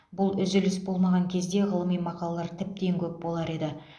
бұл үзіліс болмаған кезде ғылыми мақалалар тіптен көп болар еді